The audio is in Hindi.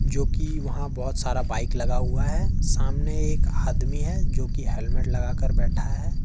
जो कि वहां बहुत सारा बाइक लगा हुआ है सामने एक आदमी है जो कि हेलमेट लगाकर बैठा है।